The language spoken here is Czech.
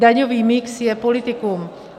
Daňový mix je politikum.